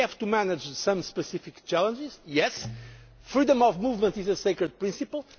of our borders. We have to manage some specific challenges, yes freedom of movement is